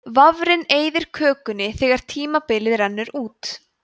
vafrinn eyðir kökunni þegar tímabilið rennur út